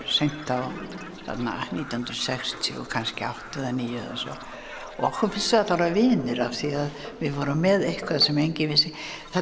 seint á nítján hundruð sextíu og átta eða níu og okkur finnst við öll vera vinir því við vorum með eitthvað sem enginn vissi